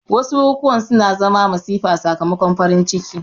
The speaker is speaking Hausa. Wasu bukukuwa suna zama masifa sakamakon farin ciki